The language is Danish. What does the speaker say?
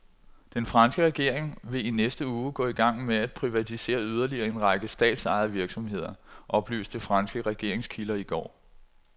Den franske regering vil i næste uge gå i gang med at privatisere yderligere en række statsejede virksomheder, oplyste franske regeringskilder i går.